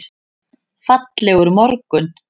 Fallegur morgun!